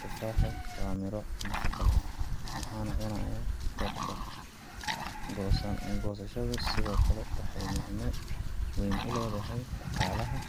Tufaaxu waa midho nafaqo leh, waxaana cunaya dadka. Goosashadu sidoo kale waxay micne weyn u leedahay dhaqaalaha